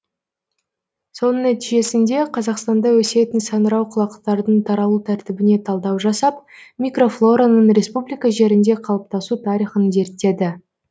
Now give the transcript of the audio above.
соның нәтижесінде қазақстанда өсетін саңырауқұлақтардың таралу тәртібіне талдау жасап микрофлораның республика жерінде қалыптасу тарихын зерттеді